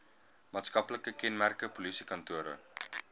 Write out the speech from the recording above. maatskaplike kenmerke polisiekantore